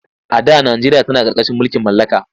A da najeriya tana ƙarƙashin mulkin mallaka.